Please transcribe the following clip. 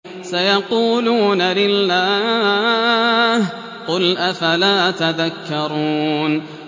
سَيَقُولُونَ لِلَّهِ ۚ قُلْ أَفَلَا تَذَكَّرُونَ